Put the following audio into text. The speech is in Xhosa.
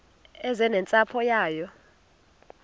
eze nentsapho yayo